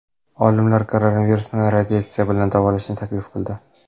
Olimlar koronavirusni radiatsiya bilan davolashni taklif qildi.